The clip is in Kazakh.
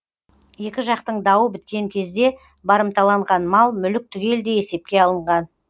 екі жақтың дауы біткен кезде барымталанған мал мүлік түгелдей есепке алынған